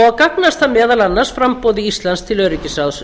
og gagnast það meðal annars framboði íslands til öryggisráðs